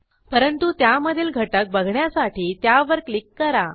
परंतु त्यामधील घटक बघण्यासाठी त्यावर क्लिक करा